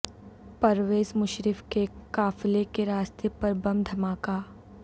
پرویز مشرف کے قافلے کے راستے پر بم دھماکا